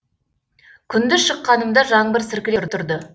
күндіз шыққанымда жаңбыр сіркіреп тұрды